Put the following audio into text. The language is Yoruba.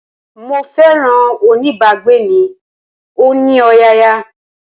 Mo féràn oní bá gbé mi, ó ní ọ̀yàyà.